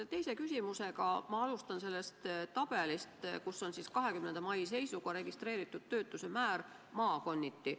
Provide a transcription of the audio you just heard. Oma teist küsimust ma alustan sellest tabelist, kus on 20. mai seisuga kirjas registreeritud töötuse määr maakonniti.